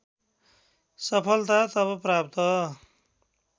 सफलता तब प्राप्त